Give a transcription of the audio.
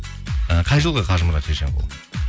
і қай жылғы қажымұрат шешенқұл